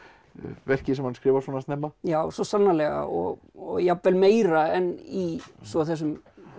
verki sem hann skrifar svona snemma já svo sannarlega og og jafnvel meira en í svo þessum